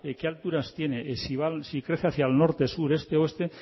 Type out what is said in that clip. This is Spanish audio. qué alturas tiene si crece hacia el norte sur este oeste